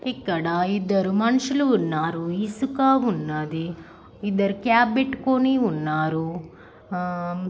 ఇక్కడా ఇద్దరు మనుషులు ఉన్నారు. ఇసుక ఉన్నాదీ. ఇద్దరు క్యాప్ పెట్టుకుని ఉన్నారు ఆ--